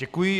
Děkuji.